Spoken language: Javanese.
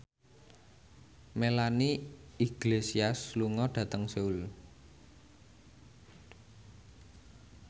Melanie Iglesias lunga dhateng Seoul